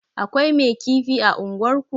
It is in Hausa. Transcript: Akwai mai kifi a unguwar ku?